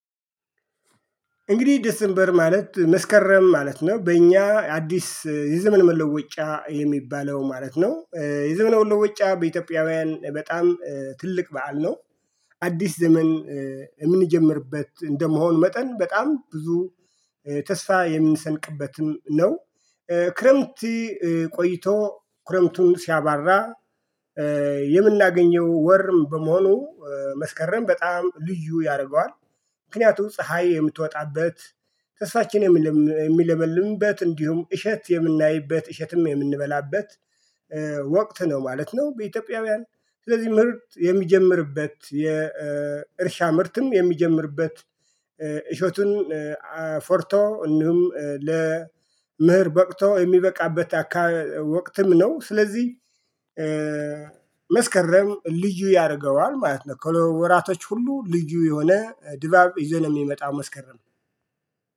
እንግዲህ ዴስንበር ማለት መስከረም ማለት ነው በእኛ አዲስ የዘመን መለወጫ የሚባለው ማለት ነው የዘመነ መለወጫ በኢትዮጵያውያን በጣም ትልቅ በዓል ነው። አዲስ ዘመን የምንጀምርበት እንደመሆኑ መጠን በጣም ብዙ ተስፋ የምንሰንቅበትም ነው። ክረምት ቆይቶ ክረምቱን ሲያባራ የምናገኘው ወርም በመሆኑ መስከረም በጣም ልዩ ያደርገዋል። ምክንያቱም ፀሀይ የምትወጣበት ተስፋችን የሚለምልምበት እንዲሁም እሸት የምናይበት እሸትም የምንበላበት ወቅት ነው ማለት ነው። በኢትዮጵያውያን ስለዚህ ምርት የሚጀምርበት የእርሻ ምርትም የሚጀምርበት እሸቱን አፍርቶ እንዲሁም ለመኸር በቅቶ የሚበቃበት አካ ወቅትም ነው። ስለዚህ መስከረም ልዩ ያደርገዋል ማለት ነው። ከወራቶች ሁሉ ልዩ የሆነ ድባብ ይዞ ነው የሚመጣው መስከረም